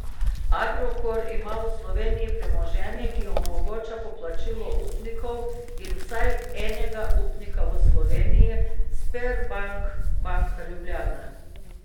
Agrokor ima v Sloveniji premoženje, ki omogoča poplačilo upnikov in vsaj enega upnika v Sloveniji, Sberbank banka Ljubljana.